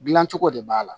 Dilancogo de b'a la